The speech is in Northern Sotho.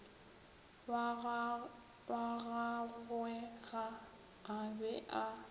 wa gagwege a be a